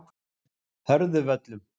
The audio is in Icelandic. Hörðuvöllum